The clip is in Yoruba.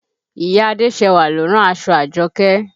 Ìyá Adéṣẹwà lo rán aṣọ Àjọkẹ́